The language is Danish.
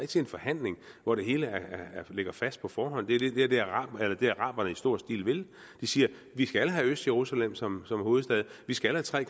til en forhandling hvor det hele ligger fast på forhånd det er det araberne i stor stil vil de siger vi skal have østjerusalem som hovedstad vi skal have tre